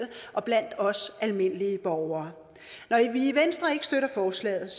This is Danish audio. og blandt os almindelige borgere når vi i venstre ikke støtter forslaget